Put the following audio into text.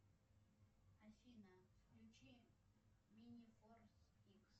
афина включи мини форс икс